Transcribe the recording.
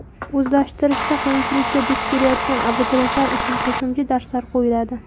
O‘zlashtirishda qiyinchilikka duch kelayotgan abituriyentlar uchun qo‘shimcha darslar qo‘yiladi.